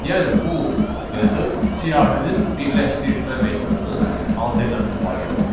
Yəni bu metod siyahının birləşdirilmə metodunun alternativ variantıdır.